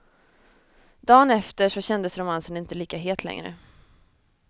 Dagen efter så kändes romansen inte lika het längre.